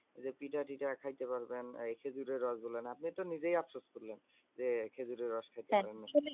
যে পিঠা থিটা খাইতে পারবেন আর খেজুরের রস বললেন। আপনি তো নিজেই আফসোস করলেন বললেন যে, খেজুরের রস খাইতে পারেন নি।